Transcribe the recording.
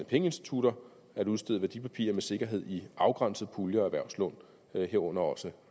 pengeinstitutter at udstede værdipapirer med sikkerhed i afgrænsede puljer og erhvervslån herunder også